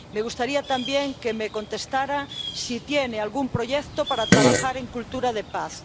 Me gustaría también que me contestara si tiene algún proyecto para trabajar en cultura de paz.